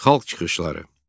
Xalq çıxışları.